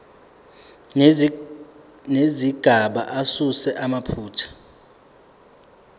nezigaba asuse amaphutha